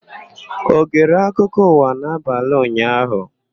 Ọ gere akụkọ ụwa n'abalị ụnyaahụ?